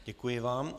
Děkuji vám.